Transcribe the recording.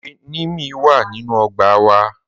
Ẹ̀wẹ̀ nímìí wà nínu ọgbà wà